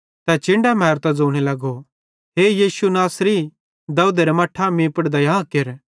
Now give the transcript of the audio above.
तै चिन्डां मैरतां ज़ोने लगो हे यीशु नासरी दाऊदेरा मट्ठां मीं पुड़ दया केर